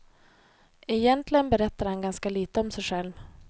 Egentligen berättar han ganska lite om sig själv.